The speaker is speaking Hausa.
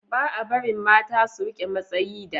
ba a barin mata su rike matsayi da